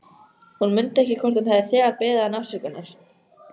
Hún mundi ekki hvort hún hefði þegar beðið hann afsökunar.